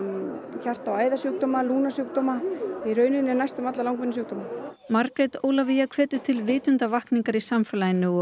hjarta og æðasjúkdóma lungnasjúkdóma í rauninni næstum alla langvinna sjúkdóma Margrét Ólafía hvetur til vitundarvakningar í samfélaginu og